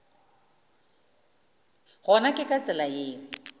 gona ke ka tsela yeo